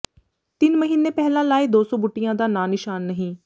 ਤਿੰਨ ਮਹੀਨੇ ਪਹਿਲਾਂ ਲਾਏ ਦੋ ਸੌ ਬੂਟਿਆਂ ਦਾ ਨਾਂ ਨਿਸ਼ਾਨ ਨਹੀਂ